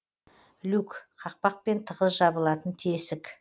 люк қақпақпен тығыз жабылатын тесік